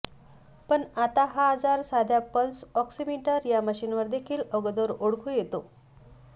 पण आता हा आजार साध्या पल्स ऑक्सीमिटर या मशीनवर देखील अगोदर ओळखू येतो